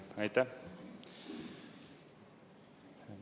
Aitäh!